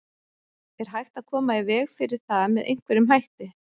Er hægt að koma í veg fyrir það með einhverjum hætti?